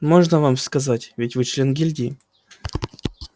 можно вам сказать ведь вы член гильдии